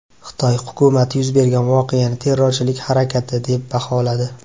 Xitoy hukumati yuz bergan voqeani terrorchilik harakati, deb baholadi.